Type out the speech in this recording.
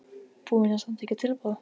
Búinn að samþykkja tilboð?